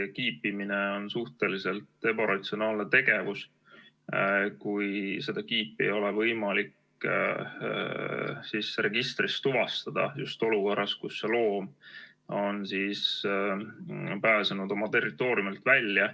Kiipimine on suhteliselt ebaratsionaalne tegevus, kui seda kiipi ei ole võimalik registrist tuvastada, just olukorras, kus loom on pääsenud oma territooriumilt välja.